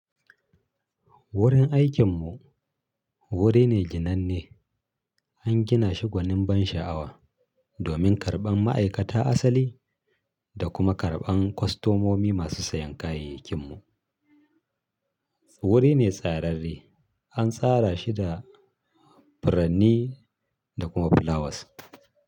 Wurin aikinmu wuri ne jinanne, an gina shi gwanin ban sha'awa domin karɓan ma'aikata asali da kuma karɓan kwastomomi masu sayan kayayyakin mu. Wuri ne tsararre, an tsara shi da furanni da kuma flowers.